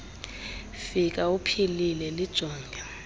fika uphilile lijonge